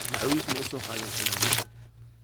Macawis mausoqadhin ayeyo.